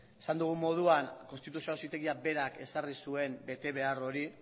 esan dugun moduan konstituzio auzitegia berak ezarri zuen betebehar hori